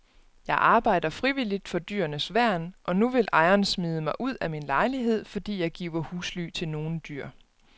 Jeg arbejder frivilligt for dyrenes værn og nu vil ejeren smide mig ud af min lejlighed, fordi jeg giver husly til nogle dyr.